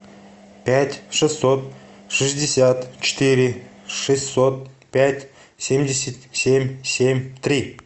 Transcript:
пять шестьсот шестьдесят четыре шестьсот пять семьдесят семь семь три